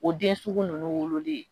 O den sugu ninnu wololen